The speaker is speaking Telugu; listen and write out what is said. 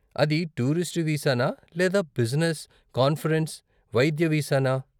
అది టూరిస్టు వీసానా లేదా బిజినెస్, కాన్ఫరెన్స్, వైద్య వీసా నా?